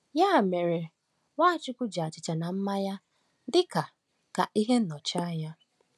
Ya mere, Nwachukwu ji achịcha na mmanya dị ka ka ihe nnọchianya.